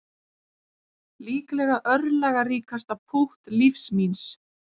Líklega örlagaríkasta pútt lífs míns